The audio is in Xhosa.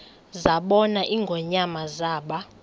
zabona ingonyama zaba